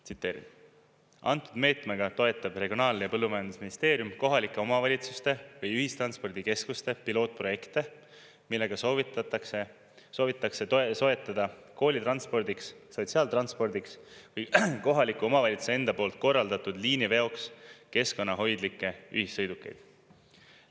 Tsiteerin: "Antud meetmega toetab Regionaal- ja Põllumajandusministeerium kohalike omavalitsuste või ühistranspordikeskuste pilootprojekte, millega soovitakse soetada koolitranspordiks, sotsiaaltranspordiks või kohaliku omavalitsuse enda poolt korraldatud liiniveoks keskkonnahoidlikke ühissõidukeid.